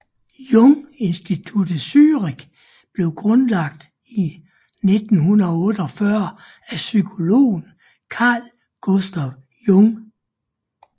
Jung Institut Zürich blev grundlagt i 1948 af psykologen Carl Gustav Jung